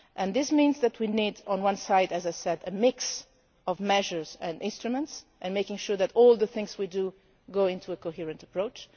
white issue. This means that we need, on one hand, as I said, a mix of measures and instruments and to make sure that all the things we do go into a coherent